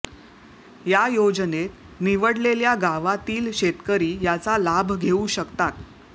या योजनेत निवडलेल्या गावातील शेतकरी याचा लाभ घेऊ शकतात